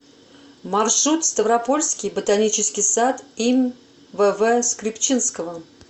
маршрут ставропольский ботанический сад им вв скрипчинского